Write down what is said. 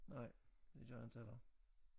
Nej det gør jeg inte heller